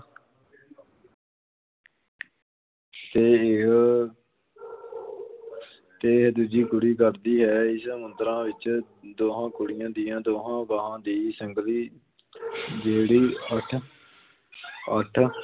ਤੇ ਇਹ ਤੇ ਦੂਜੀ ਕੁੜੀ ਕਰਦੀ ਹੈ, ਇਸ ਮੁਦਰਾ ਵਿੱਚ ਦੋਂਹਾਂ ਕੁੜੀਆਂ ਦੀਆਂ ਦੋਹਾਂ ਬਾਂਹਾਂ ਦੀ ਸੰਗਲੀ ਜਿਹੜੀ ਅੱਠ ਅੱਠ